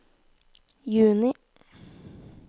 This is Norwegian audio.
juni